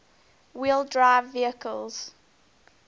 wheel drive vehicles